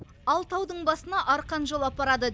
ал таудың басына арқан жолы апарады